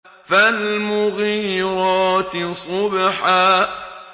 فَالْمُغِيرَاتِ صُبْحًا